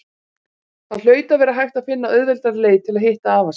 Það hlaut að vera hægt að finna auðveldari leið til að hitta afa sinn.